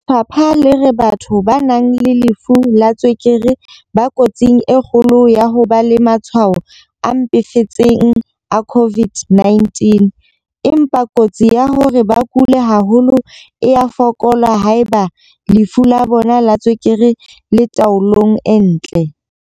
Lefapha le re batho ba nang le lefu la tswekere ba kotsing e kgolo ya ho ba le matshwao a mpefetseng a COVID-19, empa kotsi ya hore ba kule haholo e a fokola haeba lefu la bona la tswekere le le taolong e ntle.